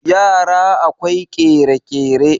yara akwai kere-kere